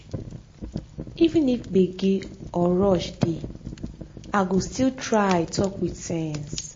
even if gbege or rush dey i fo still try talk with sense.